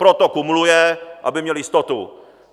Proto kumuluje, aby měl jistotu.